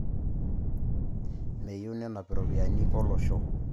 Meyiu nenap iropiyiani olosho